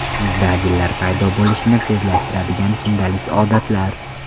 Yuzda ajinlar paydo bo‘lishini tezlashtiradigan kundalik odatlar.